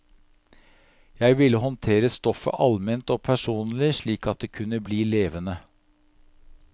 Jeg ville håndtere stoffet alment og personlig, slik at det kunne bli levende.